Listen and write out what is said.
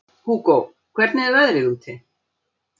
Hugó, hvernig er veðrið úti?